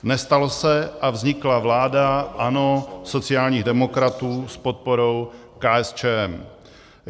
Nestalo se a vznikla vláda ANO, sociálních demokratů s podporou KSČM.